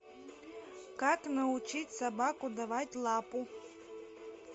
как научить собаку давать лапу